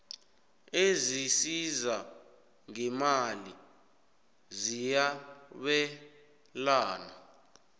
ezisiza ngeemali ziyabelana